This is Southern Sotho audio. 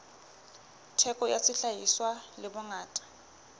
theko ya sehlahiswa le bongata